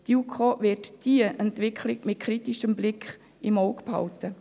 Die JuKo wird diese Entwicklung im kritischem Blick im Auge behalten.